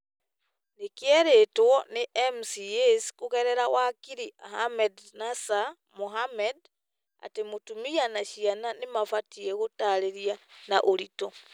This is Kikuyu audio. nĩ kĩeretwo nĩ MCAs kũgerera wakiri Ahmednasir Mohamed atĩ mũtumia na ciana nĩ mabatie gũtaarĩria na ũritũ ,